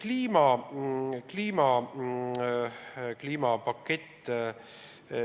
Nüüd, kliimapakett.